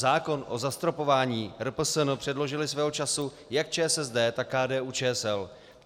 Zákon o zastropování RPSN předložily svého času jak ČSSD, tak KDU-ČSL.